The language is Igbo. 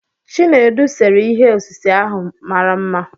Chinedu séré ihe osise ahụ mara mma